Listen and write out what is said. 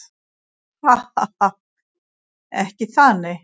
Ha ha ha. Ekki það nei.